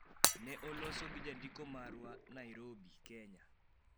Ne olosi gi jandiko marwa, Nairobi, Kenya.